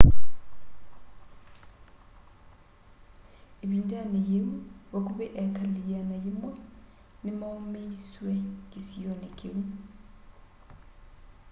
ĩvindanĩ yĩu vakuvĩ eekali 100 nĩ maumisyw'e kĩsionĩ kĩu